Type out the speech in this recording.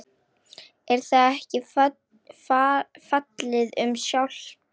Er það ekki fallið um sjálft sig?